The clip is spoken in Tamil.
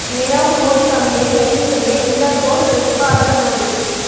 நிரவ் மோடி தம்பியை கைது செய்ய இன்டர்போல் ரெட் கார்னர் நோட்டீஸ்